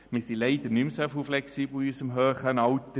Wir sind leider in unserem hohen Alter nicht mehr so flexibel.